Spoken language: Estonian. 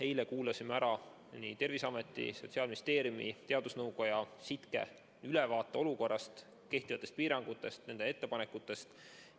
Eile kuulasime ära Terviseameti, Sotsiaalministeeriumi, teadusnõukoja, SITKE ülevaate olukorrast, kehtivatest piirangutest, nende ettepanekutest.